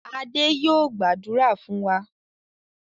Adé yóò gbàdúrà fún wa.